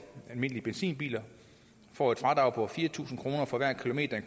almindelige benzinbiler får et fradrag på fire tusind kroner for hver kilometer